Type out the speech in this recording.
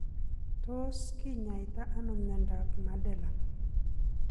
Tos kinyaita ano miondap Madelung.?